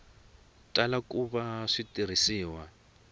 tala ku va swi tirhisiwa